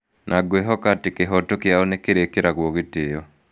Na ngwĩhoka atĩ kĩhooto kĩao nĩ kĩrĩkĩragwo gĩtĩĩo.'